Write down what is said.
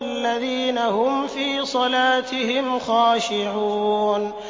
الَّذِينَ هُمْ فِي صَلَاتِهِمْ خَاشِعُونَ